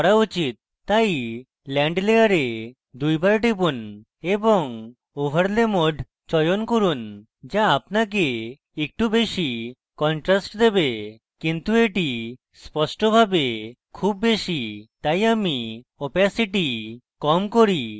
তাই land layer দুইবার টিপুন এবং overlay mode চয়ন করুন so আপনাকে একটু বেশী contrast দেবে কিন্তু এটি স্পষ্টভাবে খুব বেশী তাই আমি opacity কম করি